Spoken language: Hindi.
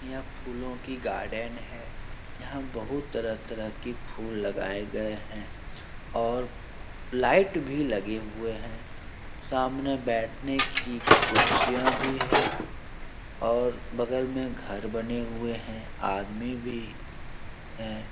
यह फूलों की गार्डन है यहाँ बहुत तरह-तरह के फूल लगाए गए हैं और लाइट भी लगे हुए हैं सामने बैठने की कुर्सियां भी है और बगल में घर बने हुए हैं आदमी भी है ।